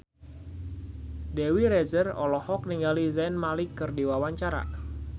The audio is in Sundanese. Dewi Rezer olohok ningali Zayn Malik keur diwawancara